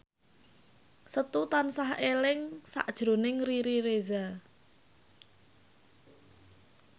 Setu tansah eling sakjroning Riri Reza